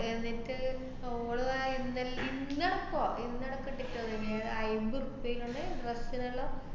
എന്നിട്ട് അവള് വ~ ഇന്നല്‍ ഇന്ന് ~പ്പോ ഇന്ന് അയ്മ്പത് റുപ്പിയേങ്കൊണ്ട്